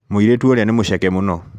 Mũirĩtu ũrĩa nĩ mũceke mũno